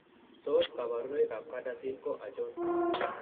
Tos kabarunoik ab CADASIL ko achon?